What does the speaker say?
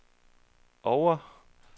Oure